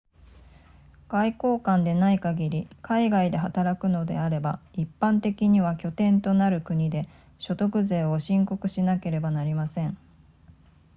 外交官でない限り海外で働くのであれば一般的には拠点となる国で所得税を申告しなければなりません